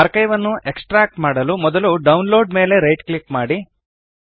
archive ನ್ನು extract ಮಾಡಲು ಮೊದಲು ಡೌನ್ಲೋಡ್ ಮೇಲೆ ರೈಟ್ ಕ್ಲಿಕ್ ಮಾಡಿ